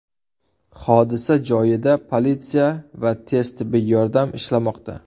Hodisa joyida politsiya va tez tibbiy yordam ishlamoqda.